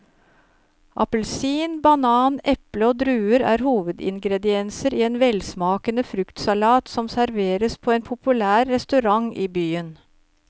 Appelsin, banan, eple og druer er hovedingredienser i en velsmakende fruktsalat som serveres på en populær restaurant i byen.